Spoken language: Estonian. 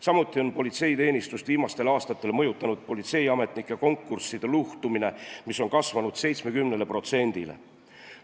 Samuti on politseiteenistust viimastel aastatel mõjutanud politseiametnike konkursside luhtumine, mis on kasvanud 70%-le.